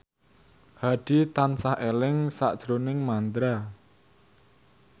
Hadi tansah eling sakjroning Mandra